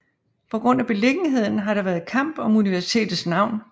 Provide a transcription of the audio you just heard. På grund af beliggenheden har der været kamp om universitetets navn